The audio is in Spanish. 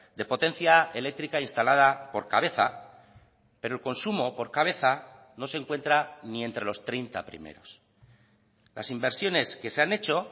de potencia eléctrica instalada por cabeza pero el consumo por cabeza no se encuentra ni entre los treinta primeros las inversiones que se han hecho